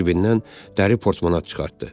Cibindən dəri portmonat çıxartdı.